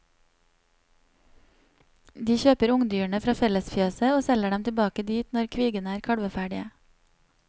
De kjøper ungdyrene fra fellesfjøset og selger dem tilbake dit når kvigene er kalveferdige.